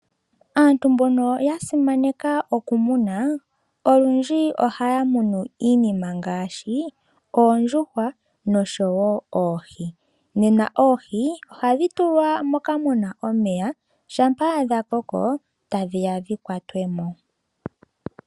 Aantu mbono ya simana nena oku muna olundji ohaya munu iinima ngaashi oondjuhwa nenge oohi. Nena oohi ihadhi tulwa moka muna omeya shaampa dha koko tadhiya dhi kwatwe mo.